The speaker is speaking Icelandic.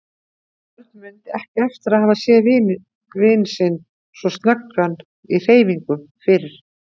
Örn mundi ekki eftir að hafa séð vin sinn svo snöggan í hreyfingum fyrr.